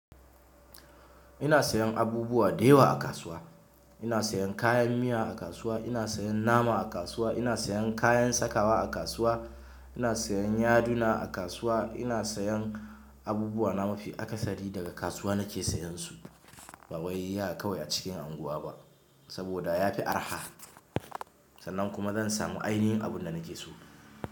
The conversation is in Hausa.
Ina sayan abubuwa da yawa a kasuwa. Ina sayan kayan miya a kasuwa, ina sayan nama a kasuwa, ina sayan kayan sakawa a kasuwa, ina sayan yaduna a kasuwa, ina sayan abubuwa na mafi akasari daga kasuwa nake sayan su. Ba wai haka kawai a cikin unguwa ba saboda ya fi araha sannan kuma zan samu ainihin abin da nake so.